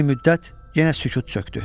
Bir müddət yenə sükut çökdü.